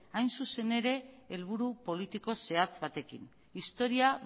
hain zuzen ere helburu politiko zehatz batekin historia